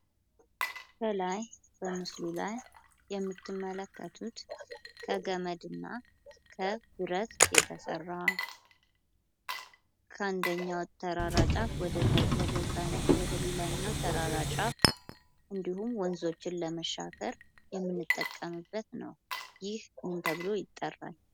ከላይ በምስሉ ላይ የምትመለከቱት ከገመድና ከብረት የተሰራ ከአንደኛው ተራራ ጫፍ ወደሌላኛው ተራራ ጫፍ እንድሁም ወንዞችን ለመሻገር የምንጠቀምበት ነው። ይህ ምን ተብሎ ይጠራል?